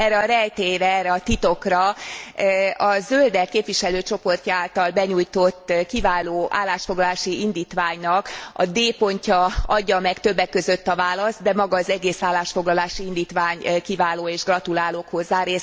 Erre a rejtélyre, erre a titokra a Zöldek képviselőcsoportja által benyújtott kiváló állásfoglalási indítványnak a d pontja adja meg többek között a választ, de maga az egész állásfoglalási indítvány kiváló, és gratulálok hozzá.